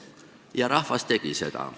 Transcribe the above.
Ja rahvas tegi seda.